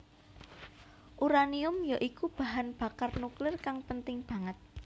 Uranium ya iku bahan bakar nuklir kang penting banget